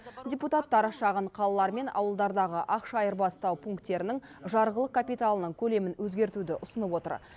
депутаттар шағын қалалар мен ауылдардағы ақша айырбастау пунктерінің жарғылық капиталының көлемін өзгертуді ұсынып отыр